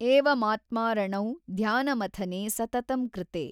ಏವಮಾತ್ಮಾರಣೌ ಧ್ಯಾನಮಥನೇ ಸತತಂ ಕೃತೇ।